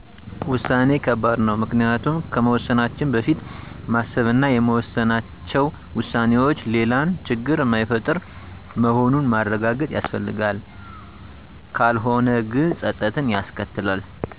ውሳኔ ከባድ ነው ምክኒያቱም ከመወሠናችን በፊት ማሰብ እና የወሠናቸው ውሳኔዎች ሌላን ችግር ማይፈጥር መሆኑንን ማረጋገጥ ያስፈልጋል። ከልሆነ ግን ፀፀትን ያስከትላል።